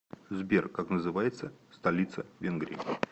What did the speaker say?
сбер как называется столица венгрии